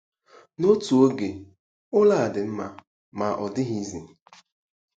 N'otu oge, ụlọ a dị mma - ma ọ dịghịzi.